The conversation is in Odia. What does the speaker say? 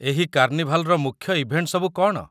ଏହି କାର୍ଣ୍ଣିଭାଲ୍‌‌ର ମୁଖ୍ୟ ଇଭେଣ୍ଟ ସବୁ କ'ଣ?